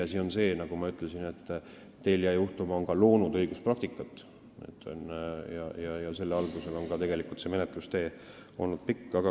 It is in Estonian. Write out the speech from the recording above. Tõsiasi on see, nagu ma ütlesin, et Telia juhtum on loonud ka õiguspraktikat ja tegelikult on see menetlustee olnud pikk.